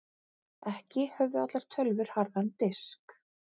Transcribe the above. Ekki höfðu allar tölvur harðan disk.